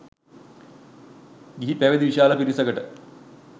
ගිහි පැවිදි විශාල පිරිසකට